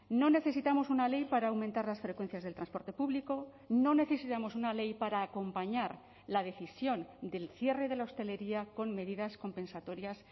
no necesitamos una ley para aumentar las frecuencias del transporte público no necesitamos una ley para acompañar la decisión del cierre de la hostelería con medidas compensatorias